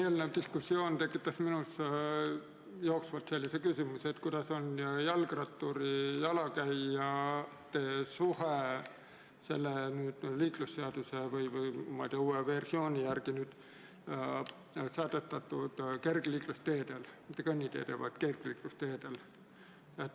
Eelnev diskussioon tekitas minus jooksvalt sellise küsimuse, kuidas on jalgratturi ja jalakäija suhe liiklusseaduse, ma ei tea, uue versiooni järgi sätestatud kergliiklusteedel, mitte kõnniteedel, vaid kergliiklusteedel.